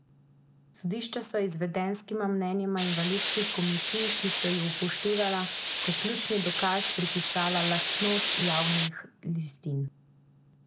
Sodišča so izvedenskima mnenjema invalidskih komisij, ki so ju upoštevala kot ključni dokaz, pripisala lastnost javnih listin.